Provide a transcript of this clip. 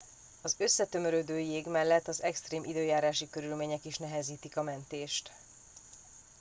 az összetömörödő jég mellett az extrém időjárási körülmények is nehezítik a mentést